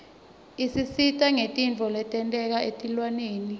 isisita ngetintfo letenteka etilwaneni